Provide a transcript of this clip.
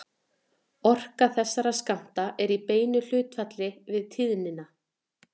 Orka þessara skammta er í beinu hlutfalli við tíðnina.